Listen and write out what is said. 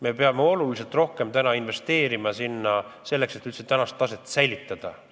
Me peame sinna oluliselt rohkem investeerima, selleks et üldse praegust taset säilitada.